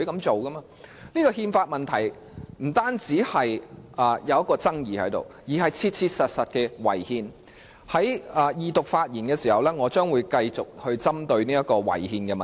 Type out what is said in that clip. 這憲法問題不僅存在爭議，而且切切實實地違憲，我將會在二讀發言時繼續談論這個違憲的問題。